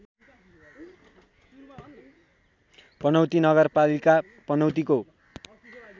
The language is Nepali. पनौती नगरपालिका पनौतीको